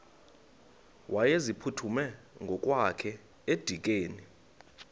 wayeziphuthume ngokwakhe edikeni